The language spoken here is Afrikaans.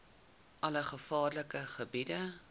alle gevaarlike gebiede